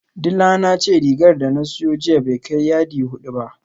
Dila na ce rigar da na siyo jiya bai kai yadi hudu ba